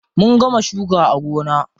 Mun gama shuka a gona.